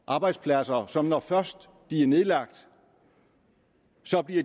arbejdspladser som når først de er nedlagt